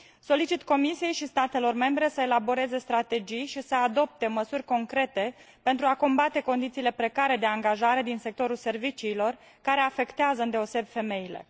Solicit Comisiei și statelor membre să elaboreze strategii și să adopte măsuri concrete pentru a combate condițiile precare de angajare din sectorul serviciilor, care afectează îndeosebi femeile.